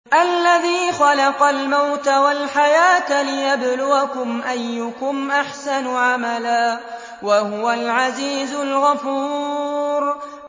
الَّذِي خَلَقَ الْمَوْتَ وَالْحَيَاةَ لِيَبْلُوَكُمْ أَيُّكُمْ أَحْسَنُ عَمَلًا ۚ وَهُوَ الْعَزِيزُ الْغَفُورُ